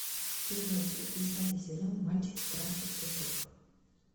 первая часть десятый сезон мальчики краше цветов